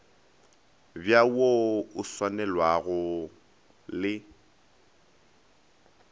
bj wo o tswalanego le